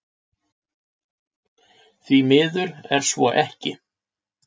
Því miður er svo ekki